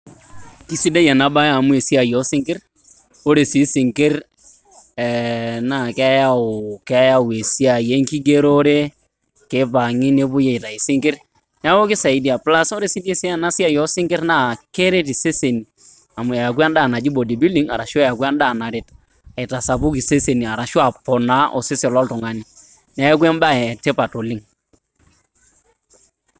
Kisidai ena baye amu esiai oo sinkirr, ore sii sinkirr naa ee keyau, keyau esiai e nkigerore. Keipang`i nepuoi aitayu sinkirr niaku keisaidia plus ore sii ena siai oo sinkirr naa keret iseseni amu ayaku en`daa naji body building arashu eeku en`daa naret aitasapuk iseseni arashu aponaa osesen lo oltung`ani. Niaku em`bae e tipat oleng.